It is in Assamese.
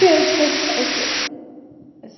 আছে আছে আছে, আছে।